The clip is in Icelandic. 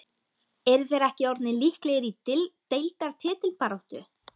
Eru þeir ekki orðnir líklegir í deildar titilbaráttu??